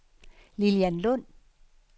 Lilian Lund